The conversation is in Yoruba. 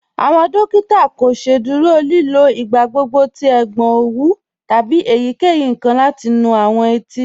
Awọn dòkìtà kò sẹ̀dúrò lìlò igbàgbọ̀gbọ̀ tí ègbọn owú tábí èyíkeyí nkan láti nú awọn ètí.